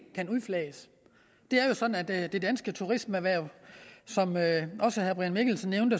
kan udflages det er jo sådan at det danske turismeerhverv som også herre brian mikkelsen nævnte